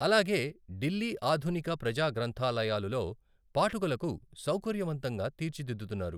అలాగే ఢిల్లీ ఆధునిక ప్రజా గ్రంధాలయాలులో పాఠకులకు సౌకర్యవంతంగా తీర్చిదిద్దుతున్నారు.